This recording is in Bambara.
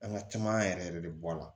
An ka caman yɛrɛ yɛrɛ de bɔ a la